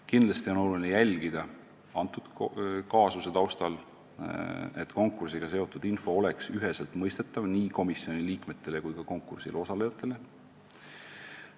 Kindlasti on oluline jälgida antud kaasuse taustal, et konkursiga seotud info oleks üheselt mõistetav nii komisjoni liikmetele kui ka konkursil osalejatele.